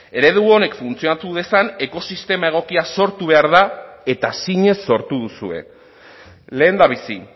eredu honek funtzionatu dezan ekosistema egokia sortu behar da eta zinez sortu duzue lehendabizi